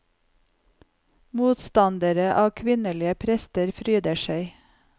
Motstandere av kvinnelige prester fryder seg.